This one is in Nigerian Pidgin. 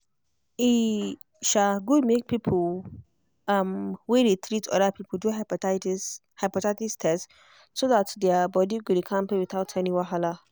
e um good make people um wey dey treat other people do hepatitis hepatitis test so that their body go dey kampe without any wahala.